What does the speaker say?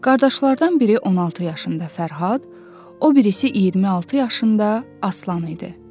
Qardaşlardan biri 16 yaşında Fərhad, o birisi 26 yaşında Aslan idi.